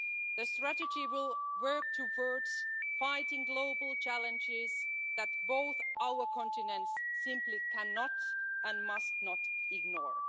The strategy will work towards fighting global challenges that both our continents simply cannot, and must not, ignore.